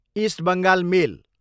east Bengal मेल